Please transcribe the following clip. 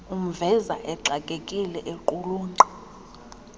umveza exakekile equlunqa